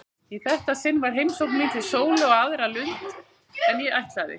Í þetta sinn var heimsókn mín til Sólu á aðra lund en ég ætlaði.